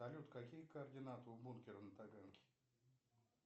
салют какие координаты у бункера на таганке